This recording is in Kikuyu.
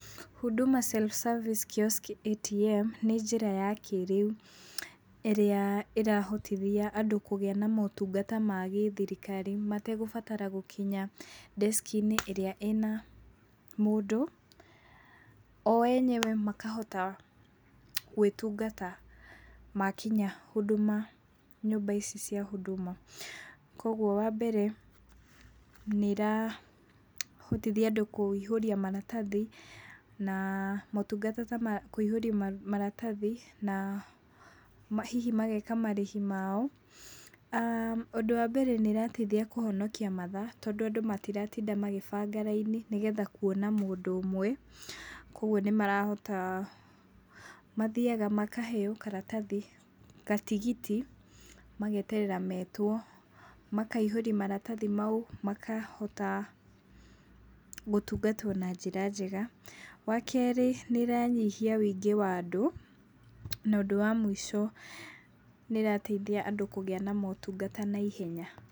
Huduma self service Kiosk ATM, nĩ njĩra ya kĩrĩu ĩrĩa ĩrahotithia andũ kũgĩa na motungata ma gĩ thirikari mategũbatara gũkinya ndeciki-inĩ ĩrĩa ĩna mũndũ. O enyewe makahota gwĩtungata makinya nyũmba ici cia huduma, koguo wambere nĩ ĩrahotithia andũ kũihũria maratathi, na motungata ta kũihũria maratathi na hihi mageka marĩhi mao. Ũndũ wa mbere nĩ ĩrateithia kũhonokia mathaa, tondũ andũ matiratinda magĩbanga raini, nĩgetha kuona mũndũ ũmwe, koguo nĩ marahota, mathiaga makaheo karatathi, gatigiti, mageterera metwo, makaihũria maratathi mau, makahota gũtungatwo na njĩra njega. Wakeerĩ nĩ ĩranyihia wũingĩ wa andũ, na ũndũ wa mũico, nĩ ĩrateithia andũ kũgĩa na motungata na ihenya.